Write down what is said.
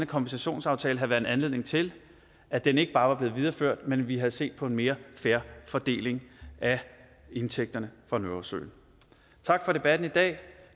kompensationsaftale have været en anledning til at den ikke bare var blevet videreført men at vi havde set på en mere fair fordeling af indtægterne fra nordsøen tak for debatten i dag